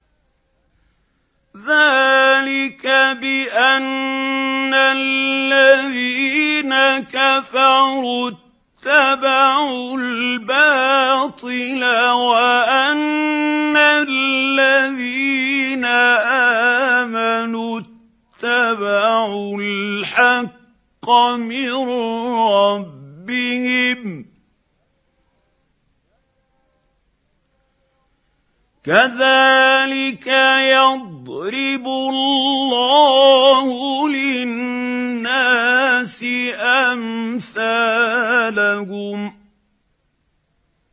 ذَٰلِكَ بِأَنَّ الَّذِينَ كَفَرُوا اتَّبَعُوا الْبَاطِلَ وَأَنَّ الَّذِينَ آمَنُوا اتَّبَعُوا الْحَقَّ مِن رَّبِّهِمْ ۚ كَذَٰلِكَ يَضْرِبُ اللَّهُ لِلنَّاسِ أَمْثَالَهُمْ